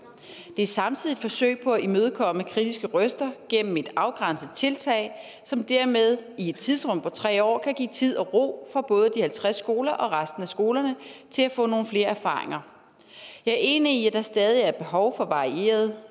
det er samtidig et forsøg på at imødekomme kritiske røster gennem et afgrænset tiltag som dermed i et tidsrum på tre år kan give tid og ro for både de halvtreds skoler og resten af skolerne til at få nogle flere erfaringer jeg er enig i at der stadig er behov for varieret